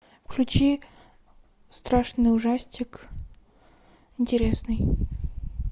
включи страшный ужастик интересный